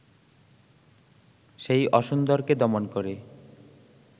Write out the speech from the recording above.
সেই অসুন্দরকে দমন করে